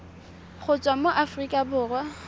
go tswa mo aforika borwa